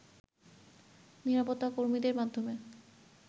নিরাপত্তাকর্মীদের মাধ্যমে